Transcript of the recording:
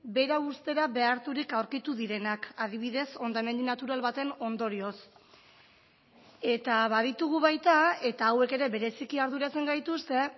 bera uztera beharturik aurkitu direnak adibidez hondamendi natural baten ondorioz eta baditugu baita eta hauek ere bereziki arduratzen gaituzte